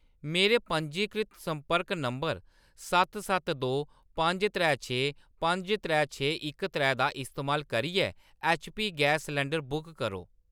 मेरे पंजीकृत संपर्क नंबर सत्त सत्त दो पंज त्रै छे पंज त्रै छे इक त्रै दा इस्तेमाल करियै ऐच्चपी गैस सलंडर बुक करो।